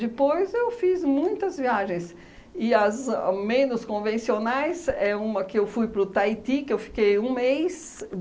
Depois eu fiz muitas viagens, e as menos convencionais é uma que eu fui para o Taiti, que eu fiquei um mês.